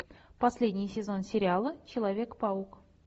последний сезон сериала человек паук